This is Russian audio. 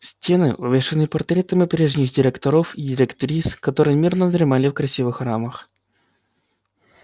стены увешаны портретами прежних директоров и директрис которые мирно дремали в красивых рамах